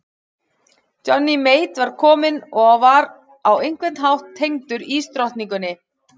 Johnny Mate var kominn og var á einhvern hátt tengdur ísdrottningunni.